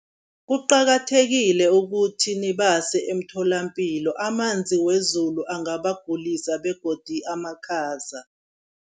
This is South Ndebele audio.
Kuqakathekile ukuthi nibase emtholampilo, amanzi wezulu angabagulisa begodi amakhaza.